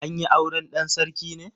An yi auren dan sarki ne?